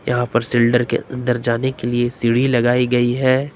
यहां पर सिल्डर के अंदर जाने के लिए सीढ़ी लगाई गई है।